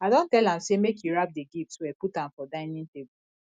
i don tell am say make he wrap the gift well put am for dinning table